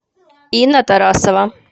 инна тарасова